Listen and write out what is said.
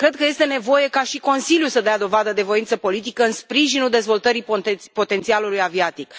Cred că este nevoie ca și Consiliul să dea dovadă de voință politică în sprijinul dezvoltării potențialului aviatic.